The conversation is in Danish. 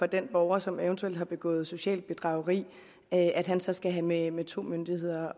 den borger som eventuelt har begået socialt bedrageri at at han så skal have med to myndigheder